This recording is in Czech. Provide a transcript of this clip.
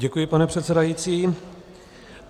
Děkuji, pane předsedající.